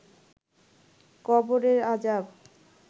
কবরের আজাব